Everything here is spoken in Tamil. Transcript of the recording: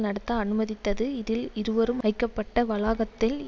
நடத்த அனுமதித்தது இதில் இருவரும் வைக்கப்பட்ட வளாகத்தில்